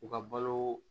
U ka balo